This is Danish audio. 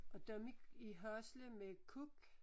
Og dem i i Hasle med kuk